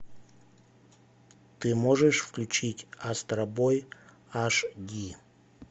ты можешь включить астробой аш ди